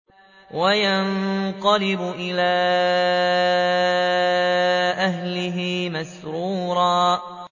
وَيَنقَلِبُ إِلَىٰ أَهْلِهِ مَسْرُورًا